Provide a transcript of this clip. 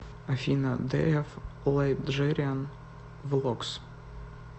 афина дэ эф лайджериан влогс